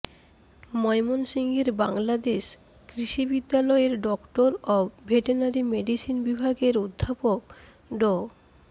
ময়মনসিংহের বাংলাদেশ কৃষি বিশ্ববিদ্যালয়ের ডক্টর অব ভেটেনারি মেডিসিন বিভাগের অধ্যাপক ড